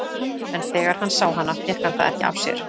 En þegar hann sá hana fékk hann það ekki af sér.